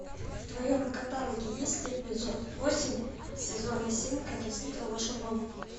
в твоем каталоге есть эпизод восемь сезона семь как я встретил вашу маму